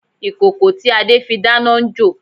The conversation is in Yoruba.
Ìkòkò tí Adé fi dáná n jò